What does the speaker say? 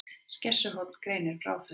Skessuhorn greinir frá þessu